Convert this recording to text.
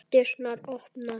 Dyrnar opnast.